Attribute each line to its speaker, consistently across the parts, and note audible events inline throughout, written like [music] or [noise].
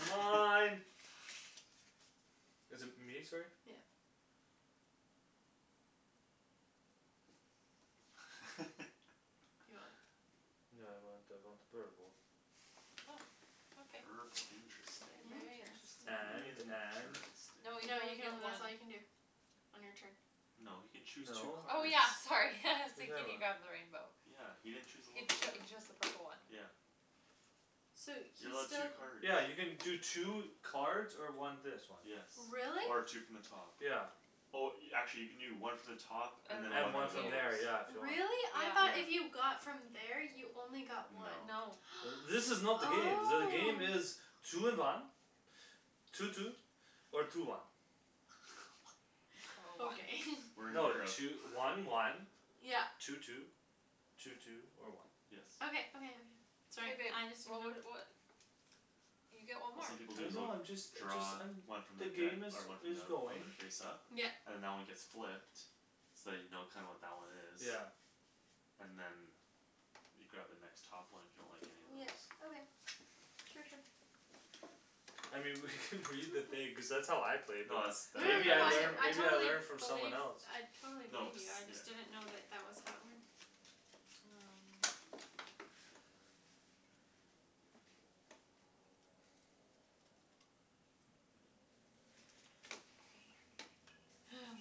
Speaker 1: mine is it me sorry?
Speaker 2: yeah you want
Speaker 3: [laughs]
Speaker 4: [inaudible]
Speaker 1: no I want I want purple
Speaker 3: purple interesting
Speaker 2: interesting
Speaker 1: and and
Speaker 2: no
Speaker 4: no
Speaker 3: interesting
Speaker 4: you can
Speaker 2: you
Speaker 4: only
Speaker 2: can
Speaker 4: get
Speaker 2: only that's
Speaker 4: one
Speaker 2: all you can do on your turn
Speaker 3: no he can choose two
Speaker 1: no
Speaker 4: oh
Speaker 3: cards
Speaker 4: yeah [laughs] sorry
Speaker 1: what
Speaker 4: [laughs]
Speaker 1: you
Speaker 4: see
Speaker 1: talking
Speaker 4: can you
Speaker 1: about
Speaker 4: grab the rainbow
Speaker 3: yeah he didn't chose a
Speaker 4: He cho- he
Speaker 3: locomotive
Speaker 4: chose the purple one
Speaker 3: yeah
Speaker 2: so he's
Speaker 3: you're
Speaker 2: still
Speaker 3: allowed two cards
Speaker 1: yeah you can do two cards or one this one
Speaker 3: yes
Speaker 2: really?
Speaker 3: or two from the top
Speaker 1: yeah
Speaker 3: oh actually you can do one from the top and
Speaker 4: and
Speaker 3: than
Speaker 4: one
Speaker 1: and
Speaker 3: one
Speaker 1: one
Speaker 4: from
Speaker 3: from
Speaker 1: from
Speaker 3: those
Speaker 4: here
Speaker 1: there yeah if you want
Speaker 2: really? I though if
Speaker 4: yeah
Speaker 3: yeah
Speaker 2: you got from there you only got
Speaker 3: no
Speaker 2: one
Speaker 4: no
Speaker 1: uh this
Speaker 2: [noise]
Speaker 1: is not the game the
Speaker 2: oh
Speaker 1: game is two in one two two or two one
Speaker 3: [noise]
Speaker 4: or one
Speaker 2: okay [laughs]
Speaker 3: we're in
Speaker 1: no
Speaker 3: Europe
Speaker 1: two- one one
Speaker 3: [noise]
Speaker 2: yeah
Speaker 1: two two two two or one
Speaker 3: yes
Speaker 2: okay okay okay
Speaker 4: hey
Speaker 2: sorry
Speaker 4: babe
Speaker 2: I just didn't
Speaker 4: what
Speaker 2: know
Speaker 4: wou- what you get one
Speaker 3: what
Speaker 4: more
Speaker 3: some people do
Speaker 1: I
Speaker 3: is they'll
Speaker 1: know I'm just a just
Speaker 3: draw
Speaker 1: I'm
Speaker 3: one from the
Speaker 1: the
Speaker 3: deck
Speaker 1: game is
Speaker 3: or one from
Speaker 1: is
Speaker 3: the one
Speaker 1: going
Speaker 3: the face up
Speaker 2: yep
Speaker 3: and that one gets flipped so you know kinda what that one is
Speaker 1: yeah
Speaker 3: and then you grab the next top one if you don't like any of
Speaker 2: yeah
Speaker 3: those
Speaker 2: okay sure sure
Speaker 1: I mean we could [laughs] read the thing cuz that's how I played it
Speaker 3: no that's
Speaker 2: no
Speaker 3: that i-
Speaker 1: maybe
Speaker 2: no
Speaker 1: I
Speaker 2: no
Speaker 3: that
Speaker 2: I
Speaker 3: is
Speaker 1: learn
Speaker 2: I
Speaker 1: maybe
Speaker 3: how
Speaker 1: I
Speaker 2: totally believe I
Speaker 1: learned from someone else
Speaker 2: totally
Speaker 3: no
Speaker 2: believe
Speaker 3: cuz
Speaker 2: you I
Speaker 3: yeah
Speaker 2: just didn't know that that was how it works
Speaker 4: um hang on
Speaker 3: [noise]
Speaker 2: ha [noise]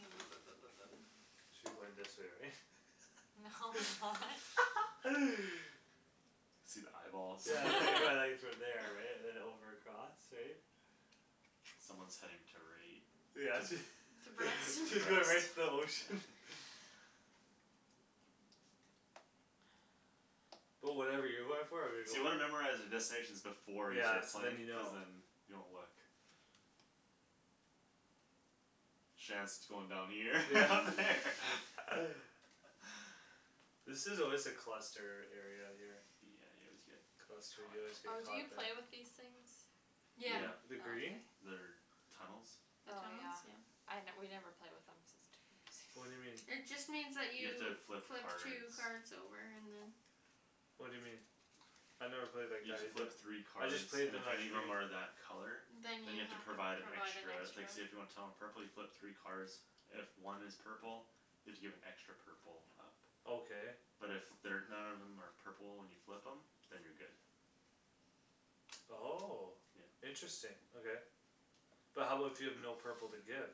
Speaker 1: should be going this way right?
Speaker 4: no why
Speaker 3: [noise]
Speaker 1: [laughs]
Speaker 3: see the eyeballs
Speaker 1: yeah there you go
Speaker 4: [laughs]
Speaker 1: [inaudible]
Speaker 3: [laughs]
Speaker 1: from there right and then over across right
Speaker 3: someone's heading to right
Speaker 1: yeah
Speaker 3: to
Speaker 1: she [laughs] she's
Speaker 2: [inaudible]
Speaker 1: going right to the
Speaker 3: [inaudible]
Speaker 1: ocean
Speaker 3: [laughs]
Speaker 4: [noise]
Speaker 1: but whatever you're going for I'm gonna
Speaker 3: so
Speaker 1: go
Speaker 3: you wanna memorize
Speaker 1: for
Speaker 3: the destinations before you
Speaker 1: yeah
Speaker 3: start
Speaker 1: so then
Speaker 3: playing
Speaker 1: you
Speaker 3: cuz
Speaker 1: know
Speaker 3: then you don't look Shands going down here [laughs]
Speaker 1: yeah
Speaker 3: over there [laughs]
Speaker 1: [laughs]
Speaker 2: [noise]
Speaker 1: this is always a cluster area here
Speaker 3: yeah you always get
Speaker 1: cluster
Speaker 3: caught
Speaker 1: you always
Speaker 3: up
Speaker 1: get
Speaker 4: oh do
Speaker 1: caught
Speaker 4: you
Speaker 1: there
Speaker 4: play with these things?
Speaker 1: the
Speaker 3: yeah
Speaker 2: yeah
Speaker 1: the
Speaker 4: oh
Speaker 1: green
Speaker 4: okay
Speaker 3: they're tunnels
Speaker 2: the
Speaker 4: oh yeah
Speaker 2: tunnels yeah
Speaker 4: I we never play with them cuz it's too time
Speaker 1: what'd you mean
Speaker 4: consuming [laughs]
Speaker 2: it just means that
Speaker 3: you have
Speaker 2: you
Speaker 3: to flip
Speaker 2: flip
Speaker 3: cards
Speaker 2: two card over and then
Speaker 1: what'd you mean I never played like
Speaker 3: you have
Speaker 1: that
Speaker 3: to
Speaker 1: either
Speaker 3: flip three
Speaker 1: I
Speaker 3: cards
Speaker 1: just played
Speaker 3: and
Speaker 1: them
Speaker 3: if
Speaker 1: as
Speaker 3: any of
Speaker 1: green
Speaker 3: them are that color
Speaker 2: then you
Speaker 3: than you
Speaker 2: have
Speaker 3: have to
Speaker 2: to provide
Speaker 3: provide an extra like
Speaker 2: an
Speaker 3: say
Speaker 2: extra
Speaker 3: if you want Tom a purple you flip three cards if one is purple you have to give an extra purple up
Speaker 1: okay
Speaker 3: but if they're none of them are purple and you flip them than you're good
Speaker 1: oh
Speaker 3: yeah
Speaker 1: interesting okay but how about if you have no purple to give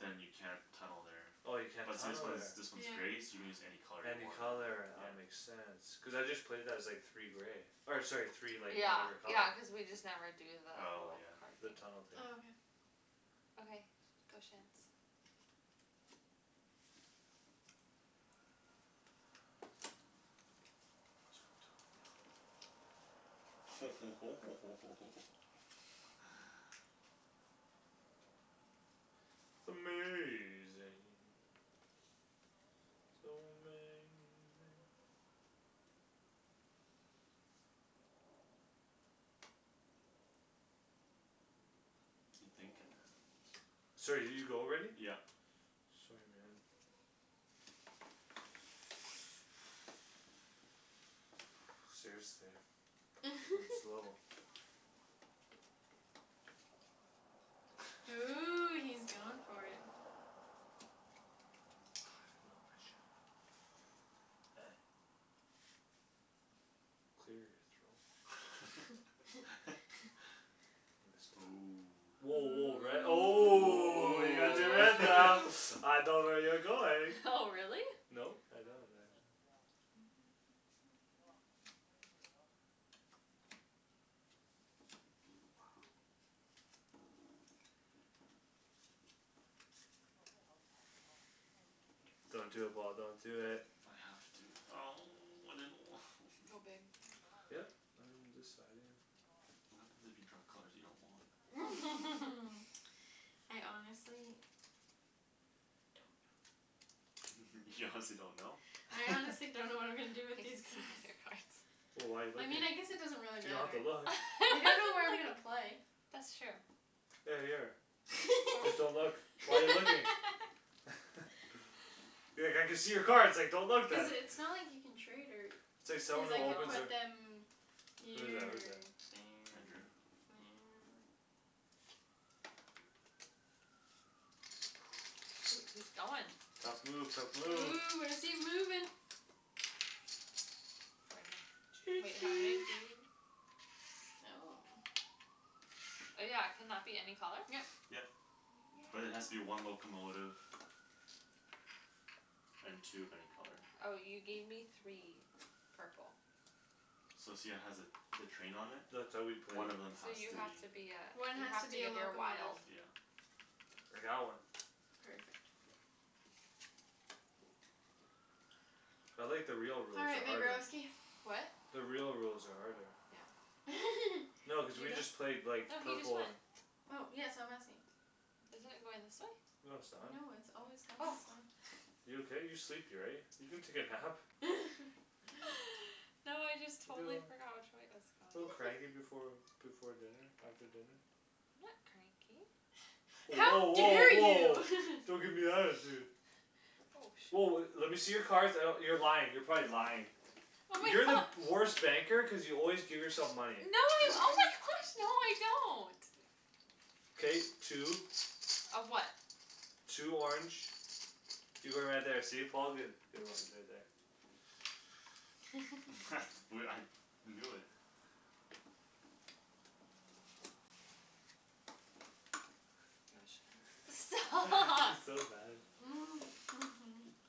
Speaker 3: than you can't tunnel there
Speaker 1: oh you can't
Speaker 3: but see this
Speaker 1: tunnel
Speaker 3: one's
Speaker 1: there
Speaker 3: this one's
Speaker 2: yeah
Speaker 3: gray so you can use any color you
Speaker 1: any
Speaker 3: want
Speaker 1: color
Speaker 3: yeah
Speaker 1: ah makes sense cuz I just played that as like three gray or sorry three like
Speaker 4: yeah
Speaker 1: whatever color
Speaker 4: yeah cuz we just never do the
Speaker 3: oh
Speaker 4: whole
Speaker 3: yeah
Speaker 4: card
Speaker 1: the
Speaker 4: thing
Speaker 1: tunnel thing
Speaker 2: oh okay
Speaker 4: okay go Shands
Speaker 3: um lets go on top ho ho ho ho ho ho ho [laughs]
Speaker 1: amazing so amazing
Speaker 3: you thinking
Speaker 1: sorry did you go already
Speaker 3: yeah
Speaker 1: sorry man [noise] seriously I'm slow
Speaker 2: [laughs] ooh he's going for it
Speaker 1: I don't know if I should or not clear your throat
Speaker 3: [laughs]
Speaker 1: [inaudible]
Speaker 3: oh
Speaker 1: woah woah red oh
Speaker 3: oh
Speaker 2: ooh
Speaker 1: [inaudible]
Speaker 3: [laughs]
Speaker 1: I know where you're going
Speaker 4: oh [laughs] really
Speaker 1: no I don't actually
Speaker 2: [noise]
Speaker 4: [noise]
Speaker 1: don't do it Paul don't do it
Speaker 3: I have to oh I didn't wa- [noise]
Speaker 4: go babe
Speaker 1: yup I'm deciding
Speaker 3: what happens if you draw colors you don't want
Speaker 4: [laughs]
Speaker 2: [laughs] I honestly don't know
Speaker 3: [laughs] you honestly don't know
Speaker 2: I honestly don't know what I'm gonna do
Speaker 4: I can
Speaker 3: [laughs]
Speaker 4: [laughs]
Speaker 2: with these
Speaker 4: see all
Speaker 2: cards
Speaker 4: your card
Speaker 1: wh- why you looking you don't have to look
Speaker 2: you don't know where I'm gonna play
Speaker 4: [laughs] that's true
Speaker 1: hey here
Speaker 4: fo-
Speaker 1: just don't look why you looking
Speaker 2: [laughs]
Speaker 1: [laughs] be like I can see your cards like don't look
Speaker 2: cuz
Speaker 1: then
Speaker 2: it's not like you can trade her
Speaker 1: it's like
Speaker 2: cuz
Speaker 1: someone who
Speaker 2: I can
Speaker 1: opens
Speaker 2: put
Speaker 1: their
Speaker 4: no
Speaker 2: them
Speaker 1: who's
Speaker 2: here
Speaker 1: that
Speaker 2: or
Speaker 1: who's that
Speaker 2: there
Speaker 3: I drew
Speaker 2: or there
Speaker 1: [noise]
Speaker 4: shoot he's going
Speaker 1: tough move tough move
Speaker 2: ooh where's he moving
Speaker 4: right
Speaker 1: choo
Speaker 4: here wait how many
Speaker 1: choo
Speaker 4: do you oh yeah can that be any color
Speaker 2: yep
Speaker 3: yep but it has to be one locomotive and two of any color
Speaker 4: oh you gave me three purple
Speaker 3: So see how it has a the train on it
Speaker 1: that's how we play
Speaker 3: one of them
Speaker 4: so
Speaker 3: has
Speaker 4: you
Speaker 3: to
Speaker 4: have
Speaker 3: be
Speaker 4: to be ah
Speaker 2: one
Speaker 4: you
Speaker 2: has to
Speaker 4: have to
Speaker 2: be a
Speaker 4: give your
Speaker 2: locomotive
Speaker 4: wild
Speaker 3: yeah
Speaker 1: like that one
Speaker 2: perfect
Speaker 1: I like the real
Speaker 2: all
Speaker 1: rules
Speaker 2: right
Speaker 1: they're
Speaker 2: my
Speaker 1: harder
Speaker 2: girlsky
Speaker 4: what
Speaker 1: the real rules are harder
Speaker 4: yeah
Speaker 2: [laughs]
Speaker 1: no cuz
Speaker 2: did you
Speaker 1: we just
Speaker 2: go
Speaker 1: played like
Speaker 4: no he just
Speaker 1: purple
Speaker 4: went
Speaker 1: and
Speaker 2: oh yeah so I'm asking
Speaker 4: isn't it going this way?
Speaker 1: no
Speaker 2: no
Speaker 1: it's not
Speaker 2: it's always gone
Speaker 4: oh
Speaker 2: this way
Speaker 1: you okay you're sleepy right you can take a nap
Speaker 2: [laughs]
Speaker 4: [laughs] no I just totally forgot
Speaker 1: [inaudible]
Speaker 4: which way it was
Speaker 1: a little
Speaker 4: going
Speaker 1: cranky before before dinner after dinner
Speaker 4: I'm not cranky
Speaker 2: how
Speaker 1: woah woah
Speaker 2: dare
Speaker 1: woah
Speaker 2: you
Speaker 1: don't gimme
Speaker 2: [laughs]
Speaker 1: attitude
Speaker 4: oh
Speaker 1: woah le-
Speaker 4: shit
Speaker 1: lemme see your cards I d- you're lying you're probably lying
Speaker 4: oh my
Speaker 1: you're the
Speaker 4: gosh
Speaker 1: worst banker cuz you always give yourself
Speaker 4: No.
Speaker 1: money
Speaker 4: Oh my
Speaker 2: [noise]
Speaker 4: gosh! No, no, I don't.
Speaker 1: K, two.
Speaker 4: Of what?
Speaker 1: Two orange. You're going right there. See Paul, good. [inaudible]
Speaker 2: [laughs]
Speaker 3: [noise] I knew it.
Speaker 4: [inaudible]
Speaker 2: [inaudible]
Speaker 4: Stop.
Speaker 1: [laughs] She's
Speaker 4: [laughs]
Speaker 1: so mad at
Speaker 2: [laughs]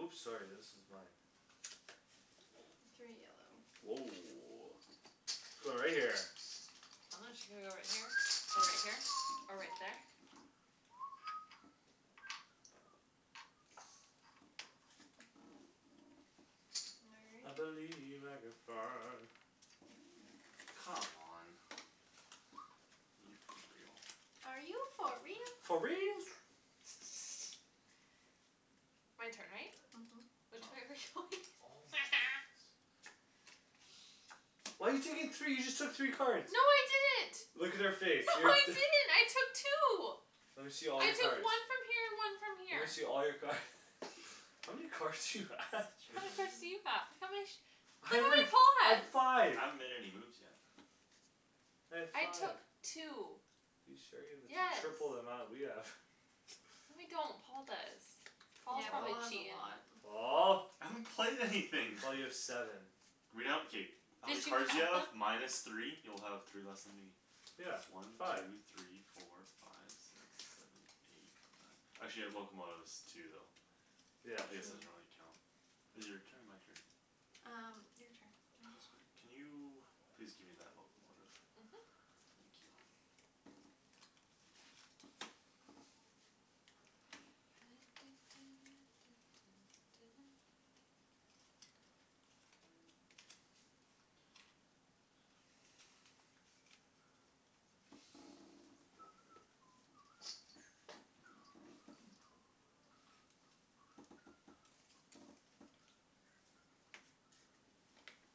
Speaker 1: Oops, sorry. This is mine.
Speaker 2: Three yellow.
Speaker 1: Woah, going right there.
Speaker 4: I'm not su- Should I go right here? Or right here? Or right there?
Speaker 1: [noise] [noise] I
Speaker 2: [inaudible]
Speaker 1: believe I [inaudible]
Speaker 3: Come on.
Speaker 1: [noise]
Speaker 3: Are you for real?
Speaker 2: Are you for
Speaker 1: For real
Speaker 2: real?
Speaker 1: [noise]
Speaker 2: [laughs]
Speaker 4: My turn, right?
Speaker 2: Mhm.
Speaker 4: Which way [laughs] are
Speaker 3: [inaudible]
Speaker 4: we going?
Speaker 1: Oh, my goodness.
Speaker 4: [noise]
Speaker 1: Why you taking three? You just took three
Speaker 4: No,
Speaker 1: cards.
Speaker 4: I didn't.
Speaker 1: Look at her face
Speaker 4: No, I
Speaker 1: [inaudible]
Speaker 4: didn't, I took two.
Speaker 1: Lemme see all
Speaker 4: I
Speaker 1: your
Speaker 4: took
Speaker 1: cards.
Speaker 4: one from here and one from
Speaker 1: Lemme see
Speaker 4: here.
Speaker 1: all your card [laughs] How many cards do you have?
Speaker 4: How many cards do
Speaker 2: [inaudible]
Speaker 4: you have? How many?
Speaker 1: Hey, wait, I have
Speaker 4: [inaudible]
Speaker 1: five.
Speaker 3: I haven't made any moves yet.
Speaker 1: I have
Speaker 4: I
Speaker 1: five.
Speaker 4: took two.
Speaker 1: You sure you the t-
Speaker 4: Yes.
Speaker 1: triple the amount we have [laughs]
Speaker 4: No, I don't. Paul does. Paul's
Speaker 2: Yeah, Paul
Speaker 1: Paul,
Speaker 4: probably
Speaker 2: has a
Speaker 4: cheatin'.
Speaker 2: lot.
Speaker 1: Paul.
Speaker 3: I haven't played anything [noise]
Speaker 1: Well, you have seven.
Speaker 3: Read out, okay. How many
Speaker 4: Did you
Speaker 3: cards do you
Speaker 4: count
Speaker 3: have?
Speaker 4: them?
Speaker 3: Minus three? You'll have three less than me.
Speaker 1: Yeah,
Speaker 3: One,
Speaker 1: five.
Speaker 3: two, three, four, five Six,
Speaker 4: [laughs]
Speaker 3: seven, eight, nine. actually I have locomotives too though.
Speaker 1: Yeah,
Speaker 3: I guess
Speaker 1: true.
Speaker 3: I
Speaker 2: Hmm
Speaker 3: should only count Is it your turn or my turn?
Speaker 2: Um, your turn I
Speaker 3: God,
Speaker 2: just went.
Speaker 3: can you please give me that locomotive.
Speaker 2: Mhm.
Speaker 3: Thank you.
Speaker 2: [noise]
Speaker 4: [noise]
Speaker 3: [noise]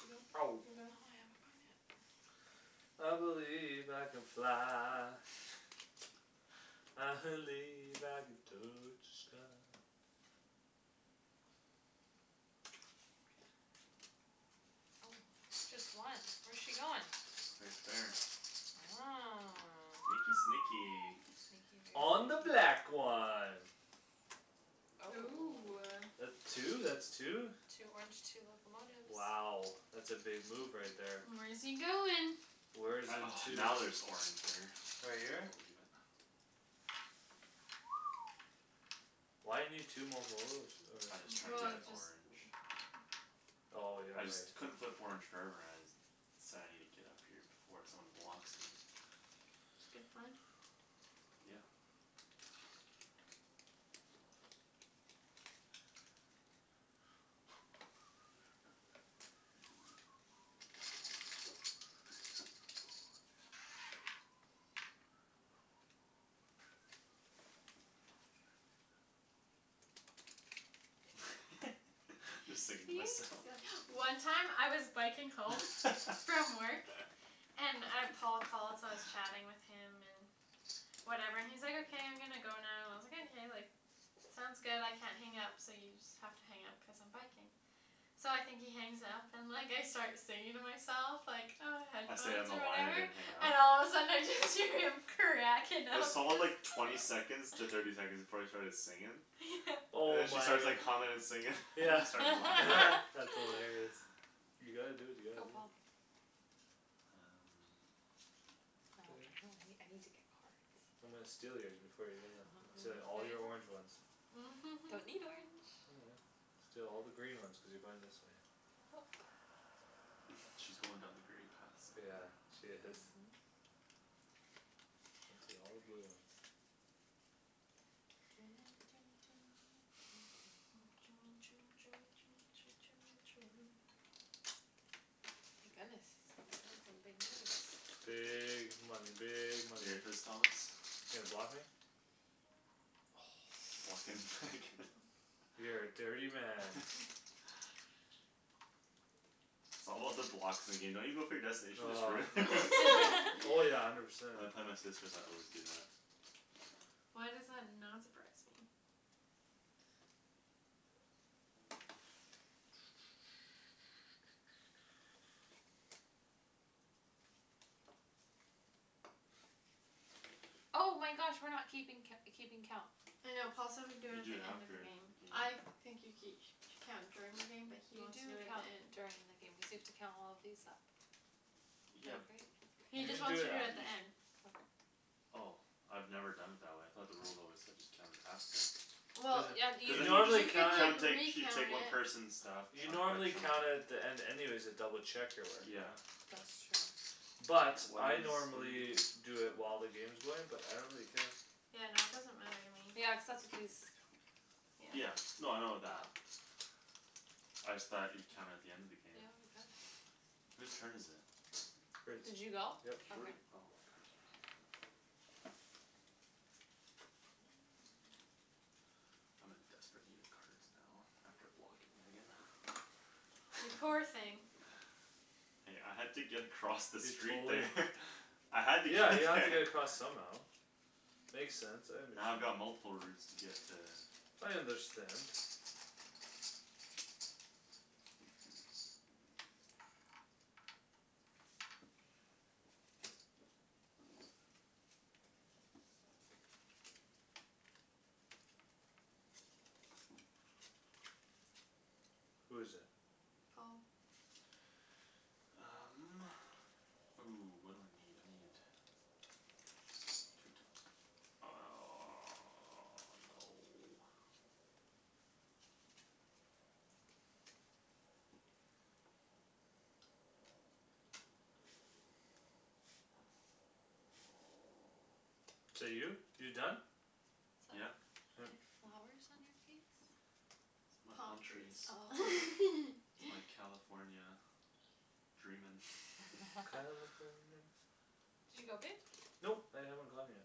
Speaker 2: Did you go?
Speaker 1: Ow.
Speaker 4: No,
Speaker 2: You
Speaker 4: I
Speaker 2: going?
Speaker 4: haven't gone yet. [noise]
Speaker 1: I believe I can fly.
Speaker 3: [laughs]
Speaker 1: I believe I can touch the sky.
Speaker 4: Okay. Oh, just one? Where's she goin'?
Speaker 3: Right there.
Speaker 4: Oh.
Speaker 3: Sneaky, sneaky.
Speaker 1: [noise]
Speaker 4: Sneaky, very
Speaker 1: On the black
Speaker 4: [inaudible]
Speaker 1: one.
Speaker 2: Ooh,
Speaker 4: Oh.
Speaker 2: ah.
Speaker 1: That two, that's two.
Speaker 4: Two orange, two locomotives.
Speaker 1: Wow. That's a big move right there.
Speaker 2: Where's he goin'?
Speaker 1: Where's
Speaker 3: I,
Speaker 1: in
Speaker 3: oh,
Speaker 1: two?
Speaker 3: now there's orange there.
Speaker 1: Right here?
Speaker 3: I believe it.
Speaker 1: [noise] Why you need two mocolotives or
Speaker 3: I just tryin' to
Speaker 2: Well,
Speaker 3: get
Speaker 2: just [noise]
Speaker 3: orange.
Speaker 1: Oh, yeah,
Speaker 3: I just
Speaker 1: right.
Speaker 3: couldn't flip orange [inaudible] So I need to get up here before someone blocks me.
Speaker 2: It's a good plan.
Speaker 3: Yeah. [noise] [laughs] Just
Speaker 2: You
Speaker 3: singing to myself.
Speaker 2: sill- One time I was biking home from work and uh Paul called, so I was
Speaker 3: [laughs]
Speaker 2: chatting with him and whatever and he's like, "okay I'm gonna go now" and I was like, "Okay, sounds good I can't hang up so you just have to hang up because I'm biking." So I think he hangs up and like I start singing to myself like, ah,
Speaker 3: I stayed on
Speaker 2: headphones
Speaker 3: the
Speaker 2: or
Speaker 3: line I
Speaker 2: whatever
Speaker 3: didn't hang up.
Speaker 2: And all of a sudden I just hear him cracking up
Speaker 3: there's all like
Speaker 2: cuz
Speaker 3: twenty second to thirty seconds
Speaker 2: [laughs]
Speaker 3: before I started singin'
Speaker 2: Yeah.
Speaker 3: And
Speaker 1: Oh
Speaker 3: then she
Speaker 1: my.
Speaker 3: starts like hummin' and singin' [laughs] and
Speaker 1: Yeah
Speaker 3: I start laughing.
Speaker 1: [laughs]
Speaker 2: [laughs]
Speaker 1: that's
Speaker 4: [laughs]
Speaker 1: hilarious. You gotta do what you
Speaker 4: Go
Speaker 1: gotta do.
Speaker 4: Paul.
Speaker 3: Um.
Speaker 4: Now I
Speaker 1: [noise]
Speaker 4: don't [inaudible] I need to get
Speaker 2: [inaudible]
Speaker 4: cards.
Speaker 1: I'm gonna steal yours before you get them.
Speaker 4: [laughs]
Speaker 1: I'm stealing all
Speaker 4: These
Speaker 1: your orange
Speaker 4: ones?
Speaker 1: ones.
Speaker 4: Don't need
Speaker 2: [laughs]
Speaker 4: orange.
Speaker 1: Oh, yeah. Steal all the green ones cuz you're going this way.
Speaker 4: Yup.
Speaker 3: [noise] She's going down the grey path
Speaker 1: Yeah,
Speaker 3: somewhere.
Speaker 1: she is.
Speaker 4: Mhm.
Speaker 1: [inaudible] all the blue ones.
Speaker 2: [inaudible]
Speaker 4: [noise]
Speaker 2: [noise]
Speaker 4: My goodness, he's playing some big moves.
Speaker 1: Big money, big money.
Speaker 3: [inaudible] Thomas
Speaker 1: You gonna block me?
Speaker 3: Blockin' where I
Speaker 1: [noise]
Speaker 3: can. [laughs]
Speaker 1: You're a dirty man.
Speaker 2: [noise]
Speaker 3: [laughs] It's all about the blocks. In the game don't you go for your destination, just
Speaker 1: Oh.
Speaker 3: ruin it.
Speaker 2: [laughs]
Speaker 4: [laughs]
Speaker 1: Oh, yeah, I
Speaker 3: [laughs]
Speaker 1: never said.
Speaker 3: When I play my sisters I always do that.
Speaker 2: Why does that not surprise me?
Speaker 1: [noise]
Speaker 3: [noise]
Speaker 4: Oh my gosh. We're not keeping co- keeping count.
Speaker 2: I know Paul said we could do
Speaker 3: You
Speaker 2: it
Speaker 3: do
Speaker 2: the
Speaker 3: it
Speaker 2: end of
Speaker 3: after
Speaker 2: the game.
Speaker 3: the game.
Speaker 2: I think you ke- Count during the game but he
Speaker 4: You
Speaker 2: wants to
Speaker 4: do
Speaker 2: do it at
Speaker 4: count
Speaker 2: the end.
Speaker 4: during the game cuz you have to count all of these up.
Speaker 3: Yeah.
Speaker 4: Like right
Speaker 2: He
Speaker 1: You can
Speaker 2: just
Speaker 1: do
Speaker 2: wants to
Speaker 1: it
Speaker 2: do it
Speaker 3: You
Speaker 2: at the
Speaker 1: af-
Speaker 3: just
Speaker 2: end.
Speaker 4: Okay.
Speaker 3: Oh. I've never done it that way. I thought the rules always said just count it after.
Speaker 1: There's
Speaker 2: Well
Speaker 4: Yeah,
Speaker 1: a
Speaker 4: you
Speaker 3: Cuz
Speaker 1: you
Speaker 3: then
Speaker 2: You can
Speaker 3: you
Speaker 1: I'm
Speaker 2: like
Speaker 3: just
Speaker 1: gonna count
Speaker 2: recount
Speaker 1: it at
Speaker 3: [inaudible] She take one
Speaker 2: it
Speaker 3: person's stuff.
Speaker 1: You
Speaker 3: Chunk
Speaker 1: know, I'm
Speaker 3: by
Speaker 1: gonna count
Speaker 3: chunk.
Speaker 1: it at the end anyways to double check your work
Speaker 3: Yeah.
Speaker 1: right
Speaker 4: That's
Speaker 1: [inaudible]
Speaker 4: true.
Speaker 1: But
Speaker 3: Why
Speaker 1: I
Speaker 3: is- What are you
Speaker 1: normally
Speaker 3: doing?
Speaker 1: Do it while the game's going but I don't really care.
Speaker 2: Yeah, no, it doesn't matter to
Speaker 4: Yeah,
Speaker 2: me.
Speaker 4: cuz that's what these
Speaker 2: Yeah.
Speaker 3: Yeah,
Speaker 4: Yeah.
Speaker 3: no, I know that.
Speaker 4: Oh.
Speaker 3: I just thought you'd count it at the end of the game.
Speaker 4: Yeah, we could.
Speaker 1: [noise]
Speaker 3: [noise] Who's turn is it?
Speaker 4: Did
Speaker 1: [inaudible]
Speaker 4: you go?
Speaker 1: Yep.
Speaker 3: Where'd
Speaker 4: okay.
Speaker 3: oh my cards are here I'm in desperate need of cards now. After blocking Megan. [noise]
Speaker 2: You poor thing.
Speaker 3: [laughs] Hey, I had to get across the
Speaker 1: You
Speaker 3: street
Speaker 1: totally
Speaker 3: there. [laughs] I had to get
Speaker 1: Yeah,
Speaker 3: to
Speaker 1: you have to
Speaker 3: there
Speaker 1: get across somehow.
Speaker 3: [laughs]
Speaker 1: Makes sense, I
Speaker 3: Now I've
Speaker 1: understand.
Speaker 3: got multiple routes to get to
Speaker 1: I understand. Who is it?
Speaker 2: Paul.
Speaker 3: Um, ooh, what do I need? I need Two top [noise] no
Speaker 1: Is that you? You done?
Speaker 4: Is
Speaker 3: Yeah.
Speaker 4: that- You have
Speaker 1: [noise]
Speaker 4: flowers on your face?
Speaker 3: It's my
Speaker 2: Palm
Speaker 3: palm trees.
Speaker 4: Oh.
Speaker 2: trees.
Speaker 3: It's
Speaker 2: [laughs]
Speaker 3: my California dreamin' [laughs]
Speaker 4: [laughs]
Speaker 1: California
Speaker 4: Did you go babe?
Speaker 1: Nope, I haven't gone yet.
Speaker 4: Okay.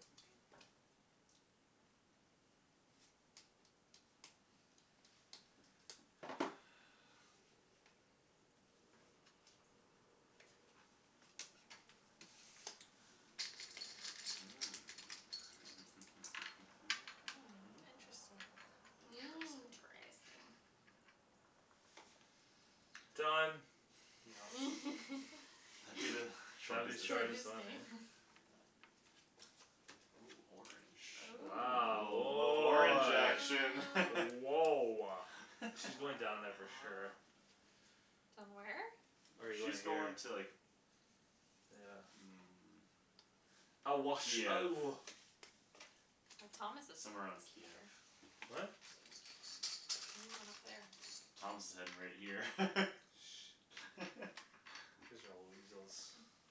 Speaker 3: [noise] Mm.
Speaker 4: Mm, interesting.
Speaker 3: [noise]
Speaker 2: Interesting.
Speaker 3: Interesting.
Speaker 1: Done.
Speaker 3: That'd be the
Speaker 2: [laughs]
Speaker 1: Shady's
Speaker 3: Shortest
Speaker 2: Shortest
Speaker 3: destina-
Speaker 1: shortest one, eh
Speaker 2: game. [laughs]
Speaker 3: ah. Ooh, orange, ooh, a
Speaker 1: Wow,
Speaker 3: little a little orange
Speaker 1: woah
Speaker 3: action [laughs]
Speaker 2: Ooh.
Speaker 1: Woah.
Speaker 2: All
Speaker 1: She's
Speaker 3: [laughs]
Speaker 1: going down there for sure.
Speaker 2: right.
Speaker 4: Done where?
Speaker 3: No,
Speaker 1: Or you going
Speaker 3: she's
Speaker 1: here?
Speaker 3: going to like
Speaker 1: Yeah.
Speaker 3: Mm.
Speaker 1: I wash,
Speaker 3: Kiev.
Speaker 1: oh
Speaker 4: Well, Thomas is
Speaker 3: Somewhere on Kiev.
Speaker 4: [inaudible]
Speaker 1: What?
Speaker 4: You're going up there.
Speaker 3: Thomas is heading right here.
Speaker 1: Shh don't
Speaker 3: [laughs]
Speaker 1: Cuz y'all weasels
Speaker 2: [noise]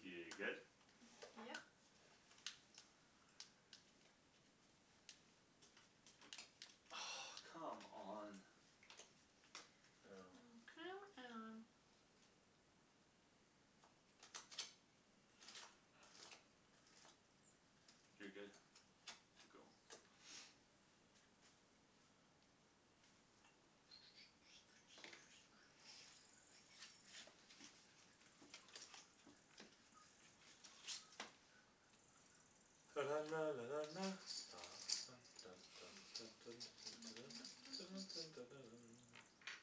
Speaker 3: You good?
Speaker 2: [noise] Yep.
Speaker 3: Oh, come on.
Speaker 1: Oh.
Speaker 3: Oh.
Speaker 2: Oh, come on.
Speaker 3: You're good to go [noise] [noise]
Speaker 2: [noise]
Speaker 1: [noise]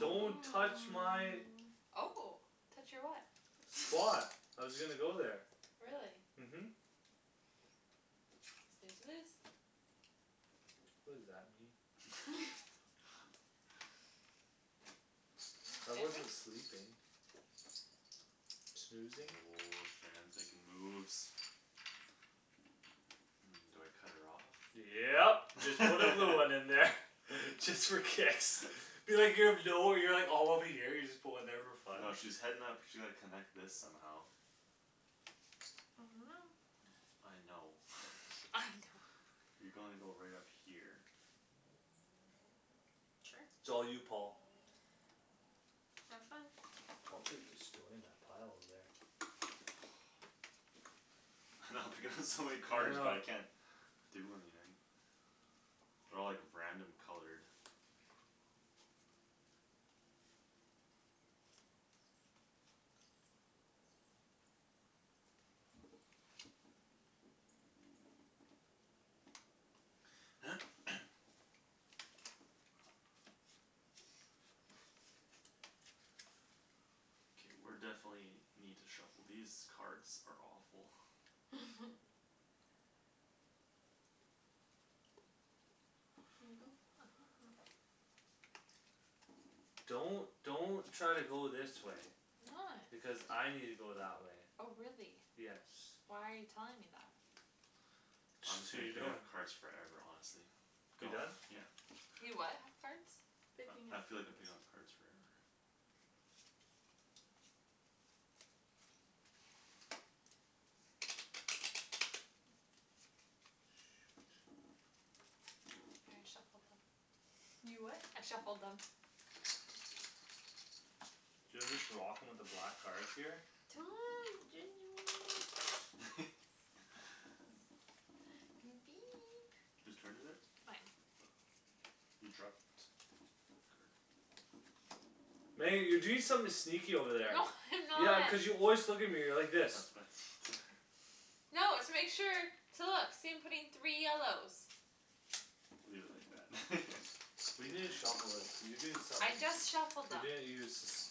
Speaker 1: Don't touch my
Speaker 2: hoo
Speaker 4: Oh, touch your what?
Speaker 1: Spot.
Speaker 2: [noise]
Speaker 1: I was gonna go there.
Speaker 4: Really?
Speaker 1: Mhm.
Speaker 4: Snooze you lose.
Speaker 1: What does that mean?
Speaker 2: [laughs]
Speaker 4: [laughs]
Speaker 3: [laughs]
Speaker 1: I wasn't
Speaker 4: [inaudible]
Speaker 1: sleeping. Snoozing.
Speaker 3: Woah, Shand's making moves. Um, do I cut her off?
Speaker 1: Yep, just put a blue one in there. [laughs] Just for kicks.
Speaker 3: [laughs]
Speaker 1: [inaudible] All over here. You just put one there for fun.
Speaker 3: No, she's heading up she like connect this somehow
Speaker 2: I don't know.
Speaker 3: I know.
Speaker 4: [noise]
Speaker 2: I don't.
Speaker 4: I know.
Speaker 3: You gonna go right up here.
Speaker 2: Sure.
Speaker 1: it's all you Paul.
Speaker 2: Have fun.
Speaker 1: Paul's like destroying that pile over there.
Speaker 3: I know [laughs] I'm picking up so many
Speaker 1: I
Speaker 3: cards but
Speaker 1: know.
Speaker 3: I can't do anything. They're all like random colored. [noise] Okay, we're definitely need to shuffle. These cards are awful.
Speaker 2: [laughs] You go.
Speaker 4: Mhm.
Speaker 1: Don't don't try to go this way.
Speaker 4: I'm not.
Speaker 1: Because I need to go that way.
Speaker 4: Oh, really?
Speaker 1: Yes.
Speaker 4: Why are you telling me that?
Speaker 3: I'm
Speaker 1: Just
Speaker 3: just
Speaker 1: so
Speaker 3: gonna
Speaker 1: you
Speaker 3: pick
Speaker 1: know.
Speaker 3: up cards forever honestly.
Speaker 1: You done?
Speaker 3: Yeah.
Speaker 4: You what have cards?
Speaker 2: Picking
Speaker 3: I I
Speaker 2: up
Speaker 3: feel like I'm
Speaker 2: cards.
Speaker 3: picking up cards forever.
Speaker 1: Shoot.
Speaker 4: I already shuffled them.
Speaker 2: You what?
Speaker 4: I shuffled them.
Speaker 2: [inaudible]
Speaker 1: Do you know, I'm just rocking with the black
Speaker 3: [noise]
Speaker 1: cards here.
Speaker 3: [laughs] Who's turn is it?
Speaker 4: Mine.
Speaker 3: Oh. You dropped. Your card.
Speaker 1: Meg, you're doing something sneaky over there.
Speaker 4: No [laughs] I'm
Speaker 1: Yeah,
Speaker 4: not.
Speaker 1: cuz you always look at me like this.
Speaker 3: That's what I need.
Speaker 4: No, it's to make sure. To look. See I'm putting three yellows.
Speaker 3: Leave it like that
Speaker 1: We need to
Speaker 3: [laughs]
Speaker 1: shuffle it. Cuz you doing
Speaker 4: I
Speaker 1: somethin'
Speaker 4: just shuffled
Speaker 1: You're
Speaker 4: them.
Speaker 1: doin', you're suspicious.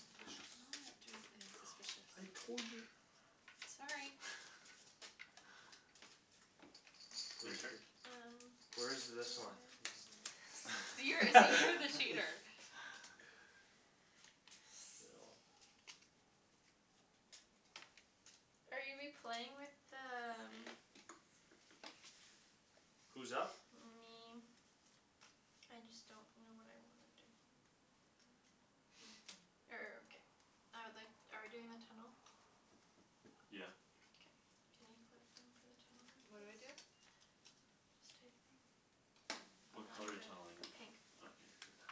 Speaker 4: I'm not doing anything
Speaker 1: [noise]
Speaker 4: suspicious.
Speaker 1: I
Speaker 2: [inaudible]
Speaker 1: told you.
Speaker 4: Sorry.
Speaker 1: [noise]
Speaker 3: [laughs] Your
Speaker 1: Where's
Speaker 3: turn.
Speaker 1: th-
Speaker 2: Um,
Speaker 1: Where is
Speaker 2: yes.
Speaker 1: this one? [noise]
Speaker 4: You're see, you're the cheater.
Speaker 1: [laughs]
Speaker 3: [laughs]
Speaker 1: [inaudible]
Speaker 2: Are you we playing with the um
Speaker 1: who's up?
Speaker 2: Me. I just don't know what I wanna do.
Speaker 1: [noise]
Speaker 4: [noise]
Speaker 2: Er, ok, I would like- Are we doing the tunnel?
Speaker 3: Yeah.
Speaker 2: Okay. Can you put some for the tunnel then
Speaker 4: What do I
Speaker 2: please?
Speaker 4: do?
Speaker 2: Just take them. Oh,
Speaker 3: What
Speaker 4: Oh.
Speaker 2: I'm
Speaker 3: color are you tunneling in?
Speaker 2: good. Pink.
Speaker 3: Okay, you're good.